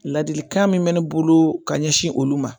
Ladilikan min mɛ ne bolo ka ɲɛsin olu ma